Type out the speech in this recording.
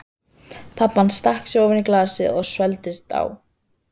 Pabbi hans stakk sér ofan í glasið og svelgdist á.